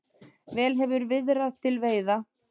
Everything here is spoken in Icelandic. Vel hefur viðrað til veiða.